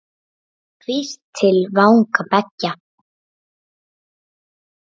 Hvísl til vanga beggja?